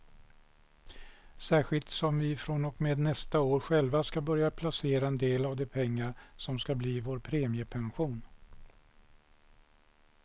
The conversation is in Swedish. Särskilt som vi från och med nästa år själva ska börja placera en del av de pengar som ska bli vår premiepension.